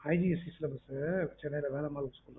ICSE syllabus Chennai Velammal school